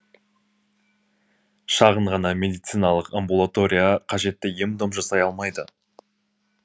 шағын ғана медициналық амбулатория қажетті ем дом жасай алмайды